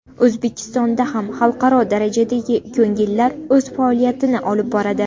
O‘zbekistonda ham xalqaro darajadagi ko‘ngillilar o‘z faoliyatini olib boradi.